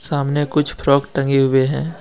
सामने कुछ फ्रॉक टंगे हुएं हैं।